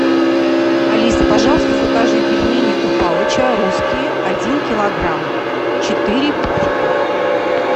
алиса пожалуйста закажи пельмени у палыча русские один килограмм четыре пачки